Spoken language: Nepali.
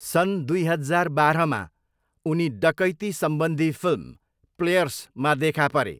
सन् दुई हजार बाह्रमा, उनी डकैतीसम्बन्धी फिल्म 'प्लेयर्स' मा देखापरे।